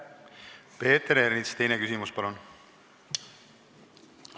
Peeter Ernits, teine küsimus, palun!